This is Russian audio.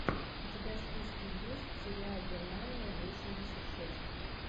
у тебя в списке есть сериал германия восемьдесят шесть